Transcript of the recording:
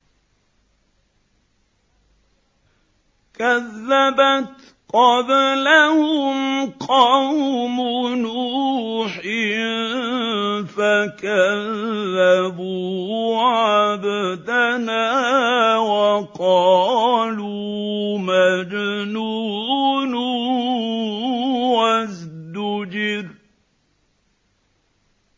۞ كَذَّبَتْ قَبْلَهُمْ قَوْمُ نُوحٍ فَكَذَّبُوا عَبْدَنَا وَقَالُوا مَجْنُونٌ وَازْدُجِرَ